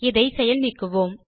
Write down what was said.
இதை செயல் நீக்குவோம்